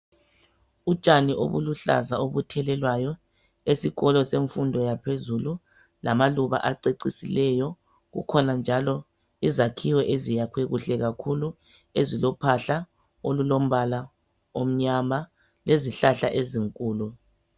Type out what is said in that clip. Utshani obuluhlaza obuthelelwayo esikolo semfundo yaphezulu lamaluba acecisileyo kukhona njalo izakhiwo eziyakhwe kuhle kakhulu ezilophahla olulombala omnyama lezihlahla ezinkulu.